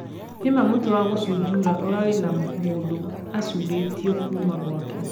nĩ maa mũti wa gũcũjura ũrari na mũndũ acũrĩtio Kuma gwake